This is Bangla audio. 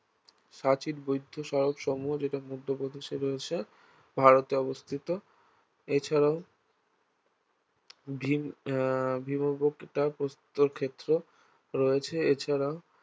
সাঁচীর বৌদ্ধ স্মারকসমূহ যেটা মধ্যপ্রদেশে রয়েছে ভারতে অবস্থিত এছাড়াও ভীম আহ ভীমবেটকা প্রস্তরক্ষেত্র রয়েছে এছাড়াও